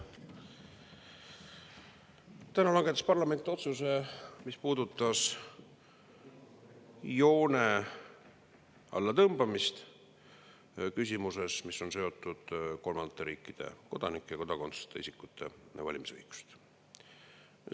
Täna langetas parlament otsuse, mis puudutas joone allatõmbamist küsimuses, mis on seotud kolmandate riikide kodanike ja kodakondsuseta isikute valimisõigusega.